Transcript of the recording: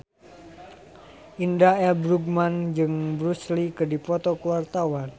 Indra L. Bruggman jeung Bruce Lee keur dipoto ku wartawan